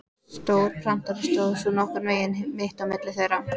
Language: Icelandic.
Stór prentari stóð svo nokkurn veginn mitt á milli þeirra.